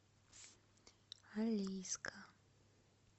алейска